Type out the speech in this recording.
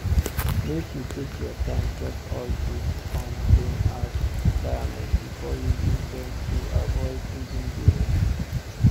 make you take your time check all dis um loan apps requirements before you use dem to avoid hidden billing